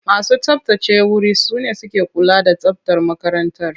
Masu tsabtace wuri su ne suke kula da tsabtar makarantar.